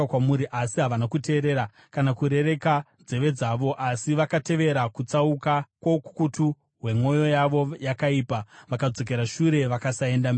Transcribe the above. Asi havana kuteerera kana kurereka nzeve dzavo; asi vakatevera kutsauka kwoukukutu hwemwoyo yavo yakaipa. Vakadzokera shure vakasaenda mberi.